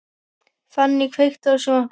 Fanny, kveiktu á sjónvarpinu.